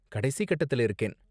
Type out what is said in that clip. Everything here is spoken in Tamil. கடைசி கட்டத்துல இருக்கேன்.